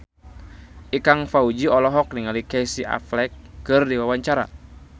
Ikang Fawzi olohok ningali Casey Affleck keur diwawancara